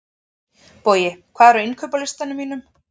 Bogi, hvað er á innkaupalistanum mínum?